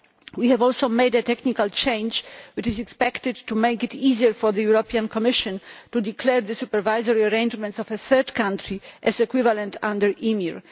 We have also made a technical change which is expected to make it easier for the Commission to declare the supervisory arrangements of a third country as equivalent under EMIR.